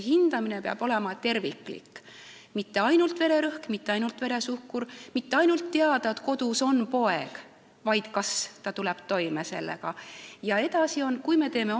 Hindamine peab olema terviklik, mitte ainult vererõhk, mitte ainult veresuhkur, mitte ainult teadmine, et kodus on poeg, vaid tuleb ka teada, kas ta tuleb selle kõigega toime.